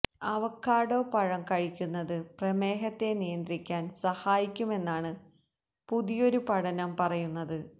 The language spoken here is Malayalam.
അവക്കാഡോ പഴം കഴിക്കുന്നത് പ്രമേഹത്തെ നിയന്ത്രിക്കാന് സഹായിക്കുമെന്നാണ് പുതിയൊരു പഠനം പറയുന്നത്